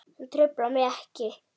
Það truflar mig ekki.